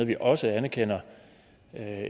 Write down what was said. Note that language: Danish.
vi også anerkender